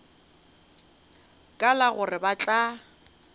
ka la gore ba tla